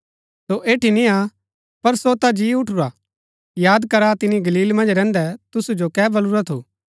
सो एठी नियां पर सो ता जी उठुरा याद करा तिनी गलील मन्ज रैहन्दै तुसु जो कै बल्लुरा थू